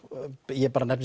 ég nefni